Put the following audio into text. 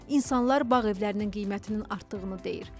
İnsanlar bağ evlərinin qiymətinin artdığını deyir.